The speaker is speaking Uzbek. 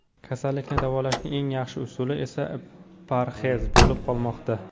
Kasallikni davolashning eng yaxshi usuli esa parhez bo‘lib qolmoqda.